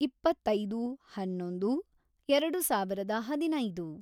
ಇಪ್ಪತ್ತೈದು, ಹನ್ನೊಂದು, ಎರೆಡು ಸಾವಿರದ ಹದಿನೈದು